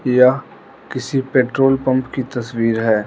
यह किसी petrol pump की तस्वीर है।